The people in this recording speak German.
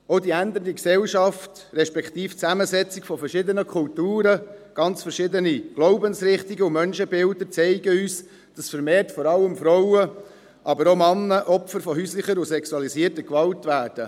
Auch die sich ändernde Gesellschaft respektive die Zusammensetzung zwischen verschiedenen Kulturen, zwischen ganz verschiedenen Glaubensrichtungen und Menschenbilder zeigen uns, dass vor allem Frauen, aber auch Männer, vermehrt Opfer von häuslicher und sexualisierter Gewalt werden.